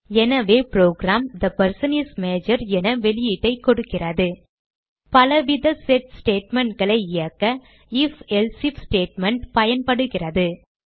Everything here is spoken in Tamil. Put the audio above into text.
எனவே program the person is major என வெளியீட்டைக் கொடுக்கிறது பலவித செட் statementகளை இயக்க IfElse ஐஎஃப் ஸ்டேட்மெண்ட் பயன்படுகிறது